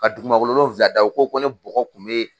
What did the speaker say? Ka dugumakolo wolonwula da, o ko ko ne bɔgɔ kun be